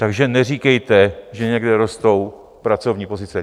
Takže neříkejte, že někde rostou pracovní pozice.